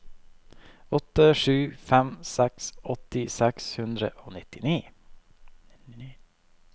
åtte sju fem seks åtti seks hundre og nitti